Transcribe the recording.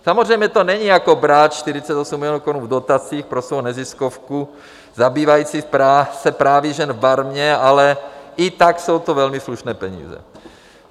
Samozřejmě to není jako brát 48 milionů korun v dotacích pro svou neziskovku zabývající se právy žen v Barmě, ale i tak jsou to velmi slušné peníze.